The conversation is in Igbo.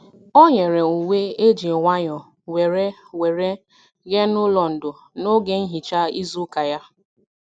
O nyere uwe eji nwayọ were were nye n'ụlọ ndo n'oge nhicha izu ụka ya.